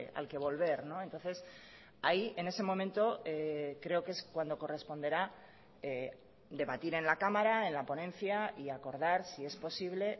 al que volver entonces ahí en ese momento creo que es cuando corresponderá debatir en la cámara en la ponencia y acordar si es posible